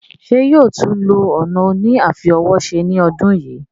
Ṣé yóò tún lo ọ̀nà òní àfi ọwọ́ se ní ọdún yìí?